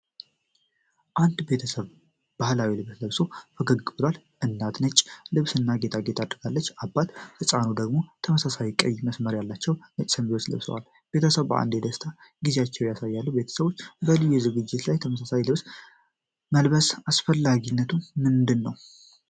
አንድ ቤተሰብ ባህላዊ ልብስ ለብሶ ፈገግ ብሏል። እናት ነጭ ልብስና ጌጣጌጥ አድርጋለች፣ አባትና ህፃኑ ደግሞ ተመሳሳይ ቀይ መስመር ያለው ነጭ ሸሚዝ ለብሰዋል። ቤተሰቡ በአንድነት የደስታ ጊዜያቸውን ያሳያሉ። ቤተሰቦች በልዩ ዝግጅቶች ላይ ተመሳሳይ ልብስ መልበስ አስፈላጊነቱ ምንድን ነው?